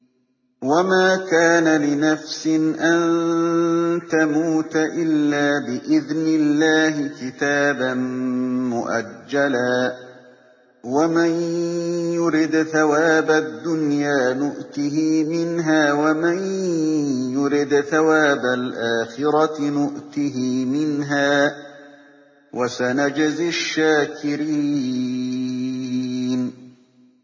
وَمَا كَانَ لِنَفْسٍ أَن تَمُوتَ إِلَّا بِإِذْنِ اللَّهِ كِتَابًا مُّؤَجَّلًا ۗ وَمَن يُرِدْ ثَوَابَ الدُّنْيَا نُؤْتِهِ مِنْهَا وَمَن يُرِدْ ثَوَابَ الْآخِرَةِ نُؤْتِهِ مِنْهَا ۚ وَسَنَجْزِي الشَّاكِرِينَ